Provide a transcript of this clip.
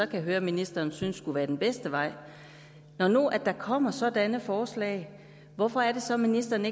kan høre ministeren synes skulle være den bedste vej når der nu kommer sådanne forslag hvorfor siger ministeren